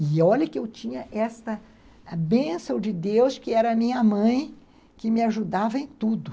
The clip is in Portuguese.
E olha que eu tinha esta bênção de Deus, que era a minha mãe, que me ajudava em tudo.